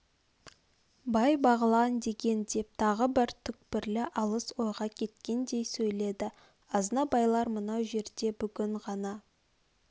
бай бағлан деген деп тағы бір түкпірлі алыс ойға кеткендей сөйледі азнабайлар мынау жерде бүгін ғана